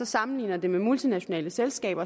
sammenligner det med multinationale selskaber